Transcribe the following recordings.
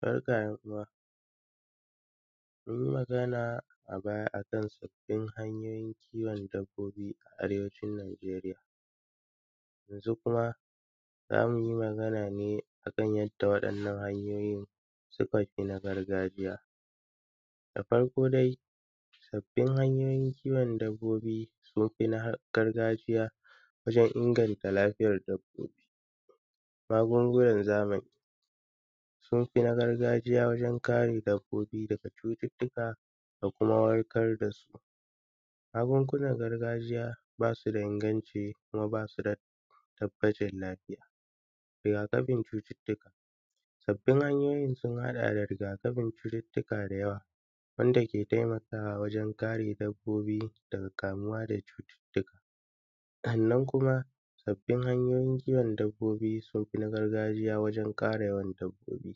Barka `yan’uwa. Mun yi magana a baya a kan sabbin hanyoyin kiwon dabbobi a arewacin Nijeriya. Yanzu kuma, za mu yi magana ne a kan yadda waɗannan hanyoyin suka fi na gargajiya. Da farko dai, sabbin hanyoyin kiwon dabbobi sun fi na gargajiya wajen inganta lafiyar dabbobi. Magungunan zamani, sun fi na gargajiya wajen kare dabbobi daga cututtuka da kuma warkar da su. Magungunan gargajiya ba su da inganci kuma ba su da tabbacin lafiya. Riga-kafin cututtuka. Sabbin hanyoyin sun haɗa da riga-kafin cututtuka da yawa wanda ke taimakawa wajen kare dabbobi daga kamuwa da cututtuka. Sannan kuma, sabbin hanyoyin kiwon dabbobi sun fi na gargajiya wajen ƙara yawan dabbobi.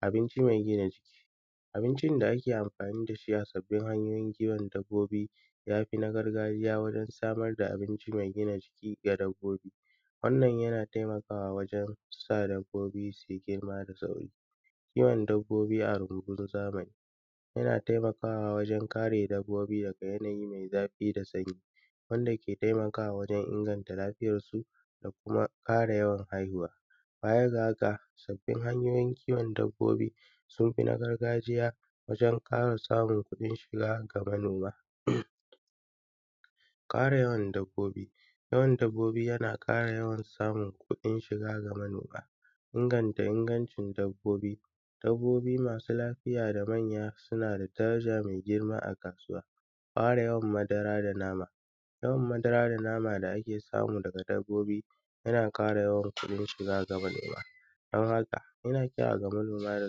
Abinci mai gina jiki. Abincin da ake amfani da shi a sabbin hanyoyin kiwon dabbobi ya fi na gargajiya wurin samar da abinci mai gina jiki ga dabbobi. Wannan yana taimakawa wajen sa dabbobi su yi girma da sauri. Kiwon dabbobi a rumbun zamani, yana taimakawa wajen kare dabbobi daga yanayi mai zafi da sanyi, wanda ke taimakawa wajen inganta lafiyarsu da kuma ƙara yawan haihuwa. Baya ga haka, sabbin hanyoyin kiwon dabbobi, sun fi na gargajiya wajen ƙara samun kuɗin shiga ga manoma. Ƙara yawan dabbobi. Yawan dabbobi yana ƙara yawan samun kuɗin shiga ga manoma. Inganta ingancin dabbobi. Dabbobi masu lafiya da manya suna da daraja mai girma a kasuwa Ƙara yawan madara da nama. Yawan madara da nama da ake samu daga dabbobi yana ƙara yawan kuɗin shiga ga manoma. Don haka, ina kira ga manoma da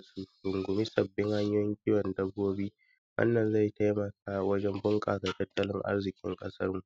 su rungumi sabbin hanyoyin kiwon dabbobi. Wannan zai taimaka bunƙasa tattalin arziƙin ƙasarmu.